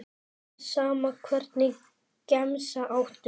Alveg sama Hvernig gemsa áttu?